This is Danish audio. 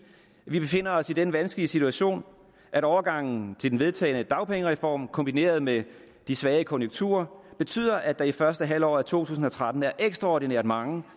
vi befinder os i den vanskelige situation at overgangen til den vedtagne dagpengereform kombineret med de svage konjunkturer betyder at der i første halvår af to tusind og tretten er ekstraordinært mange